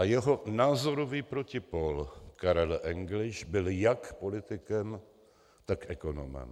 A jeho názorový protipól Karel Engliš byl jak politikem, tak ekonomem.